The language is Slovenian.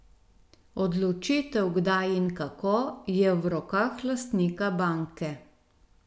Odločitev kdaj in kako, je v rokah lastnika banke.